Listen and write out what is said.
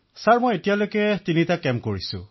অখিলঃ মহাশয় মই তিনিটা শিবিৰত অংশগ্ৰহণ কৰিছো